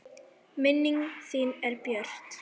Minning þín er björt.